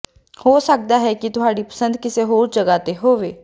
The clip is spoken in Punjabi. ਹੋ ਸਕਦਾ ਹੈ ਕਿ ਤੁਹਾਡੀ ਪਸੰਦ ਕਿਸੇ ਹੋਰ ਜਗ੍ਹਾ ਤੇ ਹੋਵੇ